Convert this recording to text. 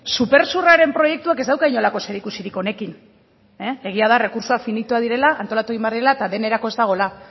supersurraren proiektuak ez dauka inolako zerikusirik honekin egia da errekurtsoak finitoak direla antolatu egin behar direla eta denerako ez dagoela